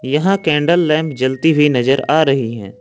यहां candle lamp जलती हुई नजर आ रही है।